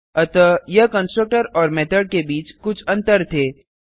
अतः यह कंस्ट्रक्टर और मेथड के बीच कुछ अंतर थे